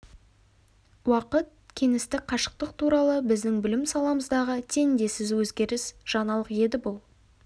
уақыт кеңістік қашықтық туралы біздің білім сапамыздағы теңдессіз өзгеріс жаңалық еді бұл